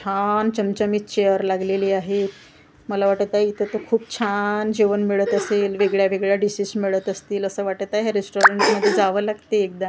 छान चमचमीत चेअर लागलेली आहे मला वाटत आहे इथं तर खूप छान जेवण मिळत असेल वेगळ्या वेगळ्या डिशेस मिळत असतील असं वाटत आहे रेस्टॉरंटमध्ये जावं लागतंय एकदा.